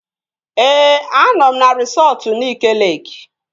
Ee, anọ m na resọtu Nike Leeki